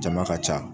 Jama ka ca